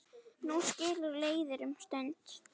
Nú skilur leiðir um stund.